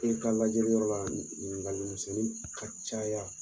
I ka lajɛliyɔrɔ la ɲininkali misɛnnin ka caya